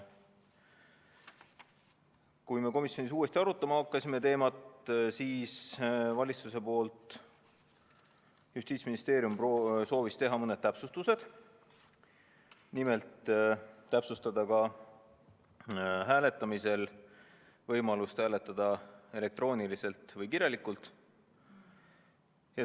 Kui me komisjonis uuesti seda teemat arutama hakkasime, siis soovis Justiitsministeerium teha mõned täpsustused, nimelt täpsustada võimalust hääletada kas elektrooniliselt või kirjalikult.